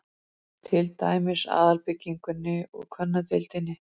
Til dæmis aðalbyggingunni og kvennadeildinni